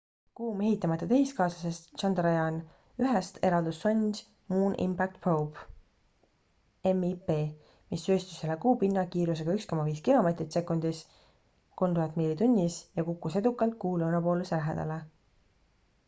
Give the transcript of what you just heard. kuu mehitamata tehiskaaslasest chandrayaan-1-st eraldus sond moon impact probe mip mis sööstis üle kuu pinna kiirusega 1,5 kilomeetrit sekundis 3000 miili tunnis ja kukkus edukalt kuu lõunapooluse lähedale